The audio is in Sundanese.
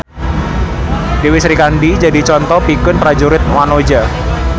Dewi Srikandi jadi conto pikeun prajurit wanoja